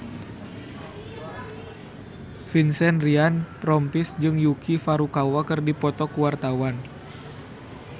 Vincent Ryan Rompies jeung Yuki Furukawa keur dipoto ku wartawan